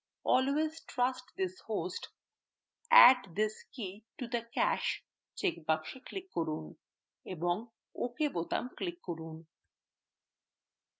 always trust this host add this key to the cache checkbox click করুন এবং ok বোতাম click করুন